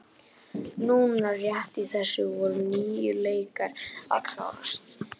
Núna rétt í þessu voru níu leikir að klárast.